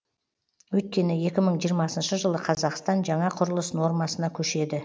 өйткені екі мың жиырмасыншы жылы қазақстан жаңа құрылыс нормасына көшеді